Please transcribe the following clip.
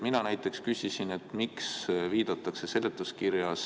Mina näiteks küsisin, miks viidatakse seletuskirjas ...